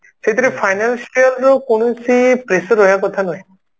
ସେଥିରେ financial ରୁ କୌଣସି pressure ରହିବା କଥା ନୁହେଁ